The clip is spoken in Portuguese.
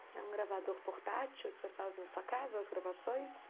É um gravador portátil que você faz na sua casa, as gravações?